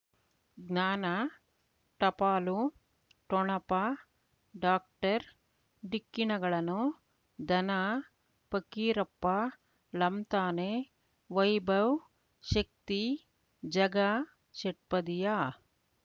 ಜ್ಞಾನ ಟಪಾಲು ಠೊಣಪ ಡಾಕ್ಟರ್ ಢಿಕ್ಕಿ ಣಗಳನು ಧನ ಫಕೀರಪ್ಪ ಳಂತಾನೆ ವೈಭವ್ ಶಕ್ತಿ ಝಗಾ ಷಟ್ಪದಿಯ